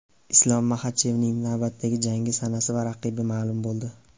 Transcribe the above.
Islom Maxachevning navbatdagi jangi sanasi va raqibi ma’lum bo‘ldi.